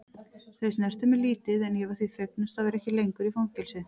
Þau snertu mig lítið en ég var því fegnust að vera ekki lengur í fangelsi.